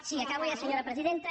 sí acabo ja senyora presidenta